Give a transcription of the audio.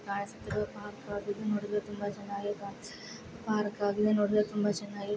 ತುಂಬಾ ಚೆನ್ನಾಗಿ --